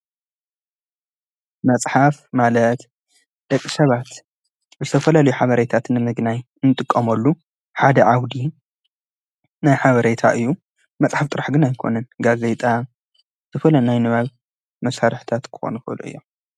መጽሓፍ ማለት ደቂ ሰባት ብተፈለሉይ ሓበረይታትንምግናይ እንጥቆምሉ ሓደ ዓውዲ ናይ ሓበረይታ እዩ መጽሕፍ ጥራሕ ግና ኣይኮንን ጋዘይጣ ፣ዝፈለ ናይ ንባብ፣ መሣርሕታት ኩኮኑ ይክእሉ እዮም።